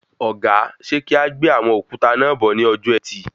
Ọ̀gá, ṣe kí a gbé àwọn òkúta náà bọ̀ ní ọjọ ẹtì?